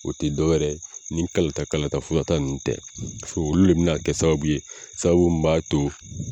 O te dɔw yɛrɛ ni kalata kalata furata ninnu tɛ a fɔ olu be na kɛ sababuw ye sababu min b'a to